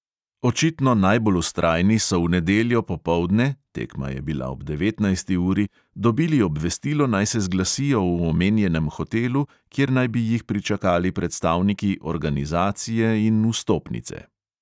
Očitno najbolj vztrajni so v nedeljo popoldne (tekma je bila ob devetnajsti uri) dobili obvestilo, naj se zglasijo v omenjenem hotelu, kjer naj bi jih pričakali predstavniki organizacije in vstopnice.